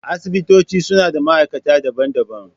Asibitoci suna da ma’aikata daban-daban.